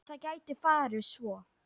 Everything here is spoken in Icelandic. Það gæti farið svo.